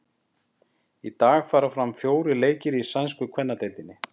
Í dag fara fram fjórir leikir í sænsku kvennadeildinni.